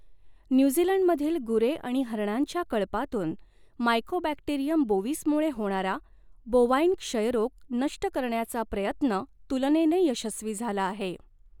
न्यूझीलंडमधील गुरे आणि हरणांच्या कळपातून मायकोबॅक्टेरियम बोविसमुळे होणारा बोवाइन क्षयरोग नष्ट करण्याचा प्रयत्न तुलनेने यशस्वी झाला आहे.